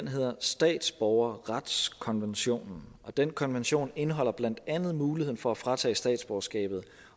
hedder statsborgerretskonventionen og den konvention indeholder blandt andet muligheden for at fratage statsborgerskabet